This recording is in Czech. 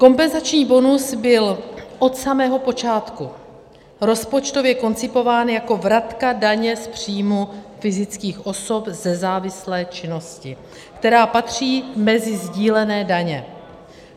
Kompenzační bonus byl od samého počátku rozpočtově koncipován jako vratka daně z příjmu fyzických osob ze závislé činnosti, která patří mezi sdílené daně.